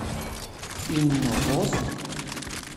In novost?